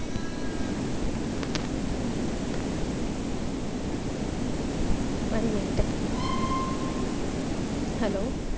one minute ah hello